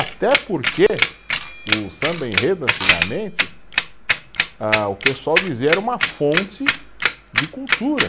Até porque o samba-enredo, antigamente, ah o pessoal dizia, era uma fonte de cultura.